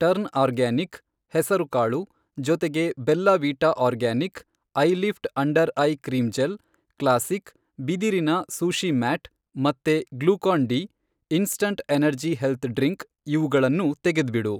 Turn organic, ಹೆಸರುಕಾಳು ,ಜೊತೆಗೆ ಬೆಲ್ಲ wheat organic, eyelift under eye cream gel, classic ,ಬಿದಿರಿನ ಸೂಶೀ ಮ್ಯಾಟ್ , ಮತ್ತೆ Glucon D ,instant energy health drink, ಇವುಗಳನ್ನೂ ತೆಗೆದ್ಬಿಡು.